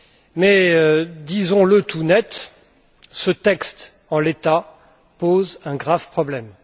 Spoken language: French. Mais disons le tout net, ce texte, en l'état, pose un grave problème.